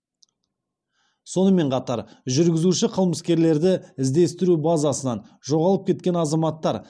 сонымен қатар жүргізуші қылмыскерлерді іздестіру базасынан жоғалып кеткен азаматтар